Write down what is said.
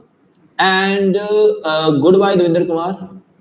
And ah good bye Davinder Kumar